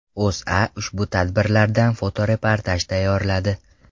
O‘zA ushbu tadbirlardan fotoreportaj tayyorladi .